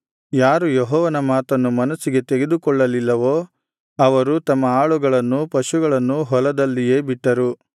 ಯಾರು ಯೆಹೋವನ ಮಾತನ್ನು ಮನಸ್ಸಿಗೆ ತೆಗೆದುಕೊಳ್ಳಲಿಲ್ಲವೋ ಅವರು ತಮ್ಮ ಆಳುಗಳನ್ನೂ ಪಶುಗಳನ್ನೂ ಹೊಲದಲ್ಲಿಯೇ ಬಿಟ್ಟರು